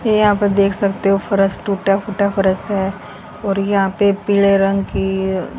यहां पर देख सकते हो फरश टूटा फूटा फरश है और यहां पे पीले रंग की--